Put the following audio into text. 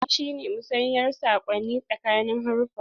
Taɗi shi ne musayar saƙonni tsakanin haruffa.